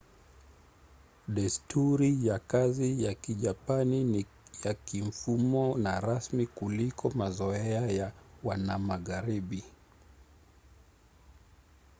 desturi ya kazi ya kijapani ni ya kimfumo na rasmi kuliko mazoea ya wanamagharibi